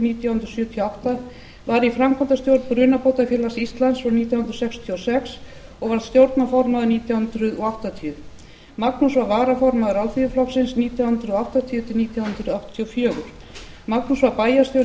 nítján hundruð sjötíu og átta var í framkvæmdastjórn brunabótafélags íslands frá nítján hundruð sextíu og sex og varð stjórnarformaður nítján hundruð áttatíu magnús var varaformaður alþýðuflokksins nítján hundruð áttatíu til nítján hundruð áttatíu og fjögur magnús var bæjarstjóri í